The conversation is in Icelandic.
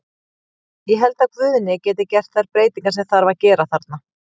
Ég held að Guðni geti gert þær breytingar sem þarf að gera þarna.